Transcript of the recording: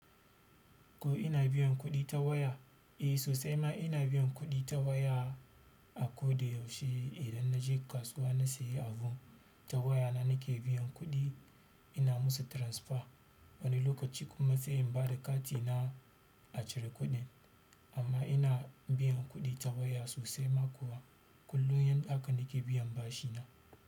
Ko ina biyan kuɗi ta waya? Eh sosai ma ina biyan kuɗi ta waya, a koda yaushe idan naje kasuwa na sayi abu ta waya na nake biyan kuɗi, ina musu transfer. Wani lokaci kuma sai in bada katina a cire kuɗin. Amma ina biyan kuɗi ta waya sosai ma kuwa. Kullum yanɗa aka nake biyan bashi na.